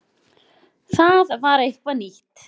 Það var eitthvað nýtt.